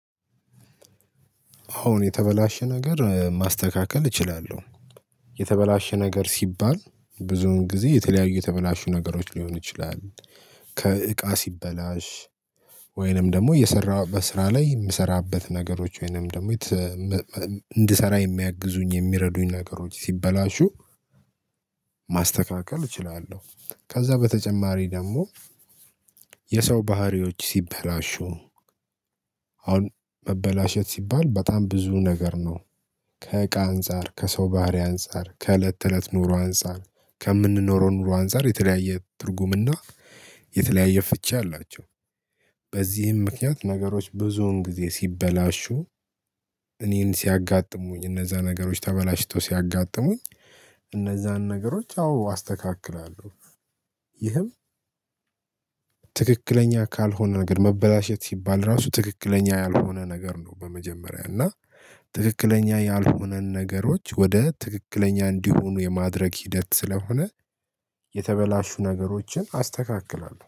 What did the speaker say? አሁን የተበላሸ ነገር ማስተካከል እችላለሁ። የተበላሸ ነገር ሲባል ብዙውን ጊዜ የተለያዩ የተበላሹ ነገሮች ሊሆኑ ይችላል። ከእቃ ሲበላሽ ወይንም ደግሞ የሰራሁበት ስራ ላይ የምሰራበት ነገሮች ወይንም ደግሞ እንድሰራ የሚያግዙኝ የሚረዱኝ ነገሮች ሲበላሹ። ማስተካከል እችላለሁ ከዛ በተጨማሪ ደግሞ የሰው ባህሪዎች ሲበላሹ አሁን መበላሸት ሲባል በጣም ብዙ ነገር ነው። ከእቃ አንፃር ከሰው ባህሪ አንፃር ከእለት ተእለት ኑሮ አንፃር ከምንኖረው ኑሮ አንፃር የተለያየ ትርጉምና የተለያየ ፍቺ አላቸው። በዚህም ምክንያት ነገሮች ብዙውን ጊዜ ሲበላሹ እኔን ሲያጋጥሙኝ እነዛ ነገሮች ተበላሽተው ሲያጋጥሙኝ እነዛን ነገሮች አዎ አስተካክላለሁ። ይህም ትክክለኛ ካልሆነ ነገር መበላሸት ሲባል ራሱ ትክክለኛ ያልሆነ ነገር ነው። በመጀመሪያ እና ትክክለኛ ያልሆነን ነገሮች ወደ ትክክለኛ እንዲሆኑ የማድረግ ሂደት ስለሆነ የተበላሹ ነገሮችን አስተካክላለሁ